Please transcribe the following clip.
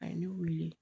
A ye ne wele